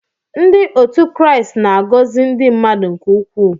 Ndị otu Kraịst na-agọzi ndị mmadụ nke ukwuu.